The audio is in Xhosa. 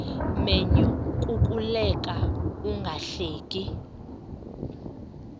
menyo kukuleka ungahleki